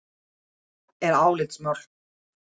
Þetta er álitamál.